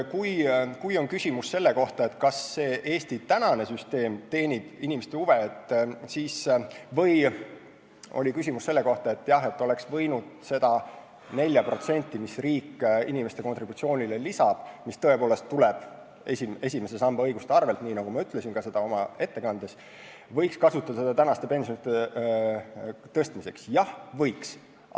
Kui küsimus on selle kohta, kas Eesti praegune süsteem teenib inimeste huve või oleks võinud seda 4%, mis riik inimeste kontributsioonile lisab – mis tõepoolest tuleb esimese samba õiguste arvel, nii nagu ma ütlesin ka oma ettekandes –, kasutada praeguste pensionide tõstmiseks, siis vastus on: jah, võiks.